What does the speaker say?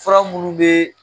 Fura minnu bɛ